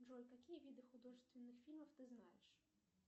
джой какие виды художественных фильмов ты знаешь